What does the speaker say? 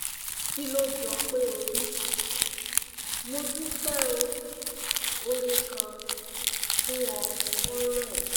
kí ló jọ pé o rí? mo dúpẹ́ ọ́ oore gan-an fún ọ̀ ọ̀rẹ́n